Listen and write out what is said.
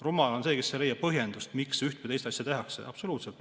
Rumal on see, kes ei leia põhjendust, miks üht või teist asja tehakse.